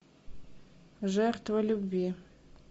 жертва любви